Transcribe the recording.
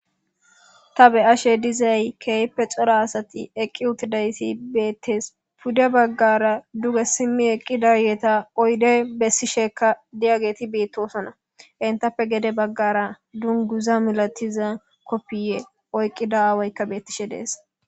Ta be ashe dizay keeype xora asati eqqi utidaysi beettes pude baggara duge simmi eqqidayeeta oyde bessishekka diyageti beettosona intappe gede baggara dunguza milatiza koppiye oyqqida aawoykka beettishe dees